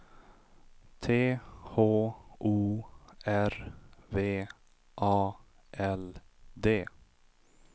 T H O R V A L D